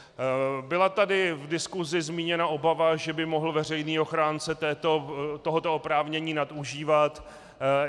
Byla tady v diskusi zmíněna obava, že by mohl veřejný ochránce tohoto oprávnění nadužívat.